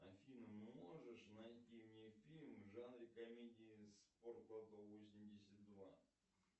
афина можешь найти мне фильм в жанре комедии спортлото восемьдесят два